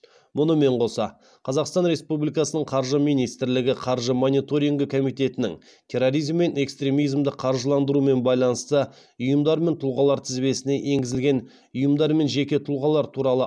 бұнымен қоса қазақстан республикасының қаржы министрлігі қаржы мониторингі комитетінің терроризм мен экстремизмді қаржыландырумен байланысты ұйымдар мен тұлғалар тізбесіне енгізілген ұйымдар мен жеке тұлғалар туралы